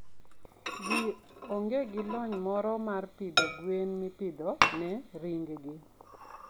ji onge gi lony moro mar pidho gwen mipidho ne ring gi.